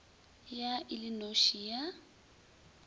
ya e le noši ya